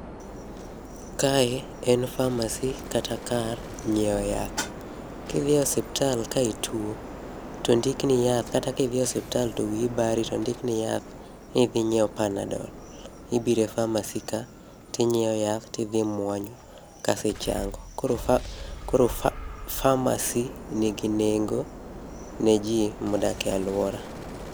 Kae en pharmacy kata kar nyiewo yath. kidhi e osiptal ka ituo to ondik ni yath kata kidhi e osiptal to wiyi bari to ondik ni yath nidhi inyiew panadol, ibire pharmacy ka tinyiewo tidhi imuonyo kasi chango. Koro pha koro pharmacy nigi nengo ne jii modak e aluora.